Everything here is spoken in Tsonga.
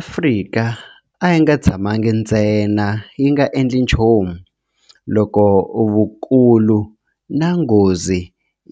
Afrika a yi nga tshamangi ntsena yi nga endli nchumu loko vukulu na nghozi